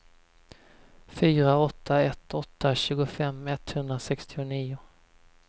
fyra åtta ett åtta tjugofem etthundrasextionio